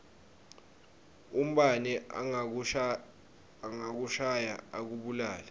umbane angakushaya akubulale